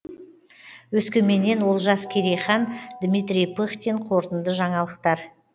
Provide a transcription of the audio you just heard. өскеменнен олжас керейхан дмитрий пыхтин қорытынды жаңалықтар